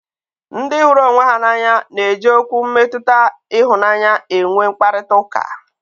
Ndị hụrụ onwe ha n'anya na eji Okwu mmetụta ịhụnanya enwe mkparịta ụka